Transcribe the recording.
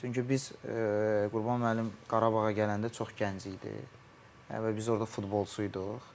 Çünki biz Qurban müəllim Qarabağa gələndə çox gənc idi və biz orda futbolçu iduq.